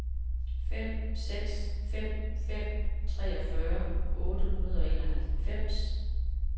fem seks fem fem treogfyrre otte hundrede og enoghalvfems